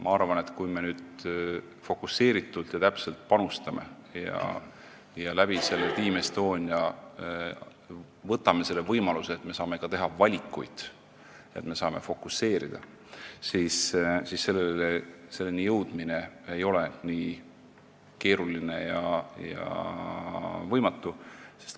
Ma arvan, et kui me nüüd täpsemalt panustame ja saame Team Estonia kaudu võimaluse teha ka valikuid, me saame sellele fokuseerida, siis ei ole selleni jõudmine nii keeruline ega võimatu.